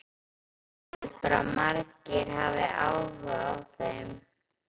Heldurðu að margir hafi áhuga á þeim?